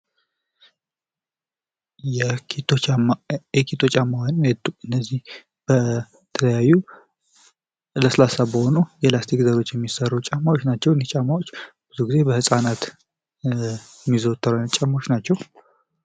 የኤኬቶ ጫማ እነዚህ በተለያዩ ለሰሰላሳ ከሆኑ ፕላሰሰቲኮች የሚሰሩ ናቸዉ። ብዙ ጊዜ በህፃናት የሚዘወተሩ አይነት ጫማወች ናቸዉ።